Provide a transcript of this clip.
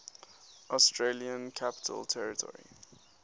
australian capital territory